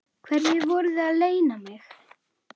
Hverju voruð þið að leyna mig?